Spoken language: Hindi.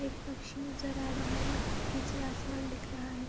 एक पक्षी नजर आ रहा है। पीछे आसमान दिख रहा है।